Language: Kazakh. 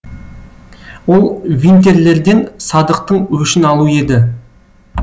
ол винтерлерден садықтың өшін алу еді